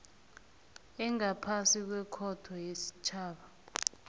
engaphasi kwekhotho yesitjhaba